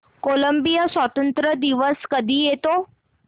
Colombia स्वातंत्र्य दिवस कधी येतो